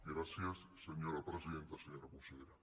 gràcies senyora presidenta senyora consellera